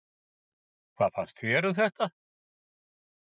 Höskuldur: Hvað fannst þér um þetta?